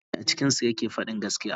Wanne ne a cikinsu yake fadin gaskiya.